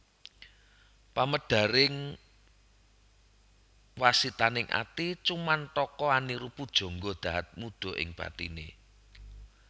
Pamedare wasitaning ati cumantaka aniru Pujangga dahat muda ing bathine